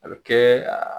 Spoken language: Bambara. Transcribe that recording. A bɛ kɛ a